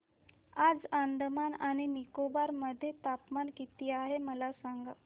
आज अंदमान आणि निकोबार मध्ये तापमान किती आहे मला सांगा